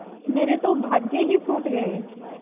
मेरे तो भाग्य ही फूट गये